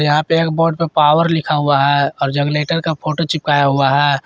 यहां पे एक बोर्ड पे पावर लिखा हुआ है और जगलेटर का फोटो चिपकाया हुआ है।